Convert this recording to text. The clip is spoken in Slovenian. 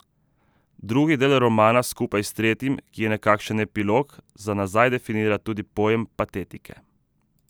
Drugi del romana skupaj s tretjim, ki je nekakšen epilog, za nazaj definira tudi pojem patetike.